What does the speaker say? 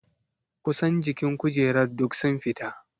Ƙusan jikin kujerar duk sun fita.